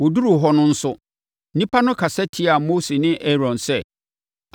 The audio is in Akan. Wɔduruu hɔ no nso, nnipa no kasa tiaa Mose ne Aaron sɛ,